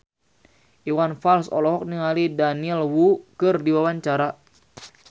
Iwan Fals olohok ningali Daniel Wu keur diwawancara